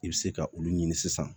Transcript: I bɛ se ka olu ɲini sisan